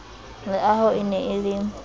leaho e ne e le